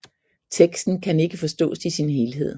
Teksten kan ikke forstås i sin helhed